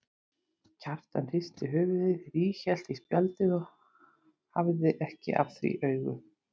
Kjartan hristi höfuðið, ríghélt í spjaldið og hafði ekki af því augun.